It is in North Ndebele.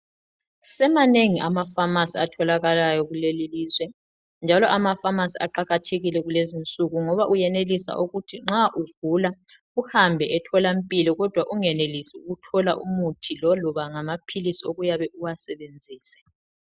Semanengi ama pharmacy atholakalayo kuleli lizwe, njalo ama pharmacy aqakathekile kulezinsuku. Ngoba uyenelisa ukuba nxa ugula uhambe etholampilo kodwa ungenelisi ukuthola umuthi loloba ngamaphilisi okuyabe uwasebenzise